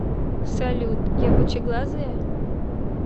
салют я пучеглазая